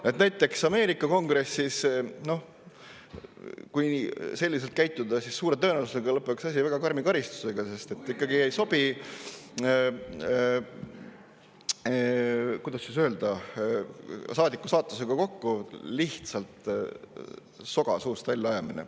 Kui näiteks Ameerika kongressis selliselt käitutaks, siis suure tõenäosusega lõpeks asi väga karmi karistusega, sest ikkagi ei sobi, kuidas öelda, saadiku staatusega kokku lihtsalt soga suust väljaajamine.